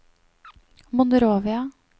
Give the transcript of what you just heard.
Monrovia